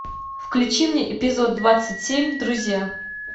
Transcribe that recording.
включи мне эпизод двадцать семь друзья